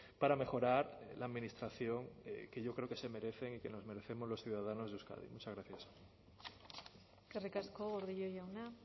para mejorar la administración que yo creo que se merece y que nos merecemos los ciudadanos de euskadi muchas gracias eskerrik asko gordillo jauna